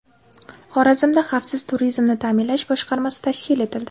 Xorazmda xavfsiz turizmni ta’minlash boshqarmasi tashkil etildi.